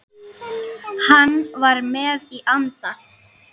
Hann var með í anda.